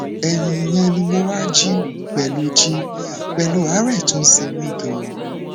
ẹyìn ìyẹn ni mo wá jí pẹlú jí pẹlú àárẹ tó ń ṣe mí ganan